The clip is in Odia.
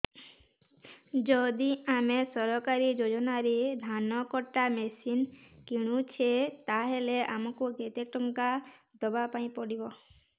ଯଦି ଆମେ ସରକାରୀ ଯୋଜନାରେ ଧାନ କଟା ମେସିନ୍ କିଣୁଛେ ତାହାଲେ ଆମକୁ କେତେ ଟଙ୍କା ଦବାପାଇଁ ପଡିବ